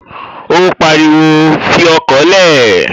Ó pariwo, "Fi ọkọ̀ lẹ̀!"